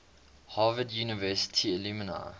harvard university alumni